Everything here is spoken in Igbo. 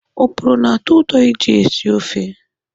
Oporo na-atọ ụtọ iji sie ofe.